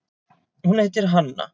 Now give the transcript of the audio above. Hún heitir Hanna.